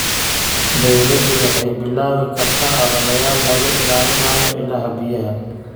Dawladdu waxay bilaabi kartaa ololeyaal lagu ilaalinayo ilaha biyaha.